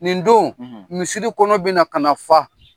Nin don, misiri kɔnɔ bɛ na ka fa.